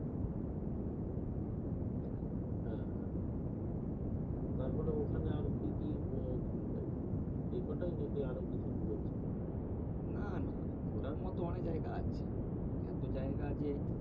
তাই না? হ্যাঁ হ্যাঁ। তারপরে ওখানে আর কি কি ঘুরলে? এই কতাই নাকি আরও কিছু ঘুরেছ? না না ঘোরার মতন অনেক জায়গা আছে। এত জায়গা যে